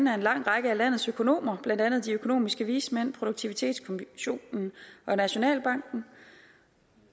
af en lang række af landets økonomer blandt andet de økonomiske vismænd produktivitetskommissionen og nationalbanken